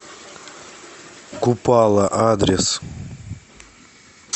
купало адрес